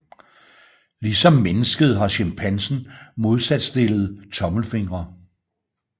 Ligesom mennesket har chimpansen modsatstillede tommelfingre